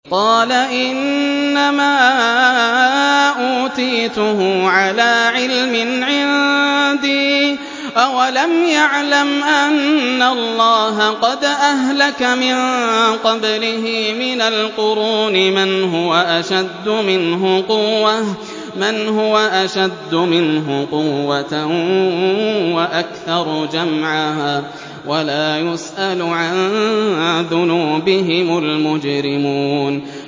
قَالَ إِنَّمَا أُوتِيتُهُ عَلَىٰ عِلْمٍ عِندِي ۚ أَوَلَمْ يَعْلَمْ أَنَّ اللَّهَ قَدْ أَهْلَكَ مِن قَبْلِهِ مِنَ الْقُرُونِ مَنْ هُوَ أَشَدُّ مِنْهُ قُوَّةً وَأَكْثَرُ جَمْعًا ۚ وَلَا يُسْأَلُ عَن ذُنُوبِهِمُ الْمُجْرِمُونَ